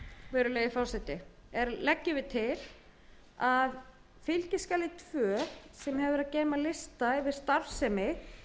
hins vegar er lagt til að fylgiskjali tvö sem hefur að geyma lista yfir starfsemi